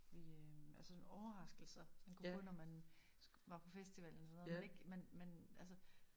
Vi øh altså sådan overraskelser man kunne få når man var på festival eller når man ikke man man altså